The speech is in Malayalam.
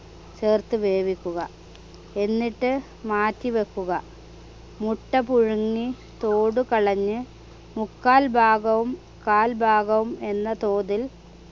ചേർത്ത് വേവിക്കുക എന്നിട്ട് മാറ്റിവെക്കുക മുട്ട പുഴുങ്ങി തോടു കളഞ്ഞ് മുക്കാൽ ഭാഗവും കാൽ ഭാഗം എന്ന തോതിൽ